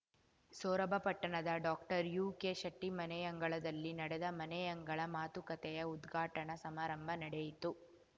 ಸೊರಬ ಪಟ್ಟಣದ ಡಾಕ್ಟರ್ಯುಕೆಶೆಟ್ಟಿಮನೆಯಂಗಳದಲ್ಲಿ ನಡೆದ ಮನೆಯಂಗಳ ಮಾತುಕತೆಯ ಉದ್ಘಾಟನಾ ಸಮಾರಂಭ ನಡೆಯಿತು